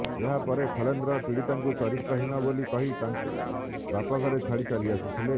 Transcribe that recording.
ଏହା ପରେ ଖିଲେନ୍ଦ୍ର ପୀଡ଼ିତାଙ୍କୁ ଚରିତ୍ରହୀନ ବୋଲି କହି ତାଙ୍କୁ ବାପ ଘରେ ଛାଡ଼ି ଚାଲି ଆସିଥିଲେ